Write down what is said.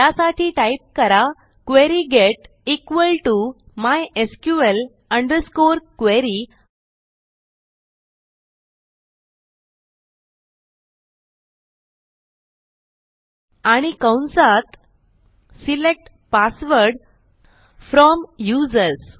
त्यासाठी टाईप करा query get equal to MySQL underscore query आणि कंसात सिलेक्ट पासवर्ड फ्रॉम यूझर्स